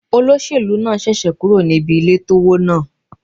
Olóṣèlú náà ṣẹ̀ṣẹ̀ kúrò níbi ilé tó wó náà.